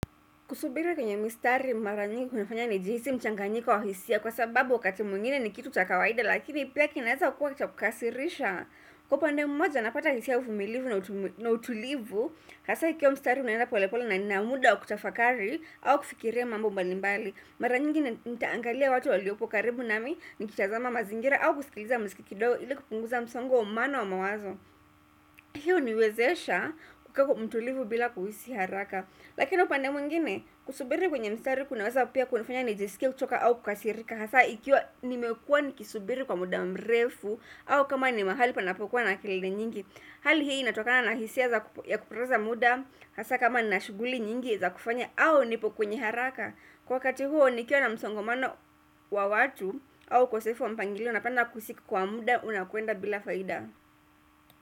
Kusubiri kwenye mistari mara nyingi kunafanya nijihisi mchanganyiko wa hisia kwa sababu wakati mwingine ni kitu cha kawaida lakini pia kinaeza kuwa cha kukasirisha. Kwa upande mmoja napata hisia uvumilivu na utulivu hasa kama ikiwa mstari unaenda pole pole na na muda wa kutafakari au kufikiria mambo mbalimbali. Mara nyingi nitaangalia watu waliopo karibu nami nikitazama mazingira au kusikiliza msiki kidogo ili kupunguza msongo wa mano wa mawazo. Hiyo huniwezesha kukaku mtulivu bila kuhisi haraka. Lakini upande mwingine kusubiri kwenye mstari kunaweza pia kunifanya nijisikie kuchoka au kukasirika hasa ikiwa nimekuwa nikisubiri kwa muda mrefu au kama ni mahali panapokuwa na kelele nyingi hali hii inatokana na hisia za ya kupoteza muda hasa kama na shughuli nyingi za kufanya au nipo kwenye haraka. Kwa wakati huo nikiwa na msongomano wa watu au ukosefu wa mpangilio napanda kusiki kwa muda unakuenda bila faida.